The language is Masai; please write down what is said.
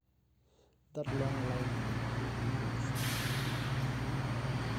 Ore ili olkereri oado neidim aitodolu imbaa are.